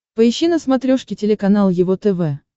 поищи на смотрешке телеканал его тв